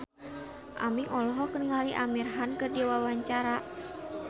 Aming olohok ningali Amir Khan keur diwawancara